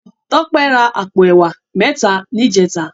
Tope rá àpó èwá mètá nijètá